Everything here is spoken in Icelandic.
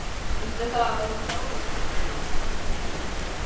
Veistu það, að hún Sóla litla brosti framan í mig.